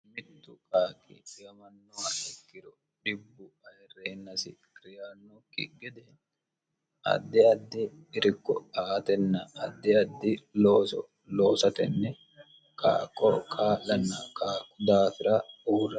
mitu mitu qaaqi ilamannoa ikkiro dhibbu ayirreyiinasi kiri yaannookki gede addi addi irkko aatenna addi addi looso loosatenni kaaqo kaa'lanna kaaqu daafira uurra